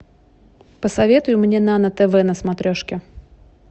посоветуй мне нано тв на смотрешке